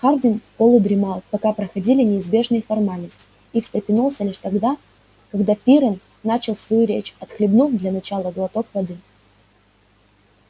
хардин полудремал пока проходили неизбежные формальности и встрепенулся лишь тогда когда пиренн начал свою речь отхлебнув для начала глоток воды